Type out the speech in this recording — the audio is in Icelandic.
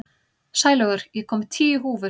Sælaugur, ég kom með tíu húfur!